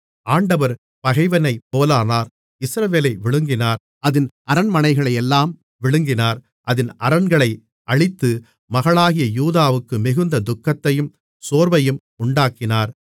ஆண்டவர் பகைவனைப் போலானார் இஸ்ரவேலை விழுங்கினார் அதின் அரண்மனைகளையெல்லாம் விழுங்கினார் அதின் அரண்களை அழித்து மகளாகிய யூதாவுக்கு மிகுந்த துக்கத்தையும் சோர்வையும் உண்டாக்கினார்